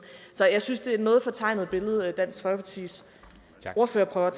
så jeg synes det er et noget fortegnet billede dansk folkepartis ordfører prøver